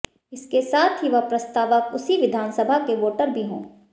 इसके साथ ही वह प्रस्तावक उसी विधानसभा के वोटर भी हो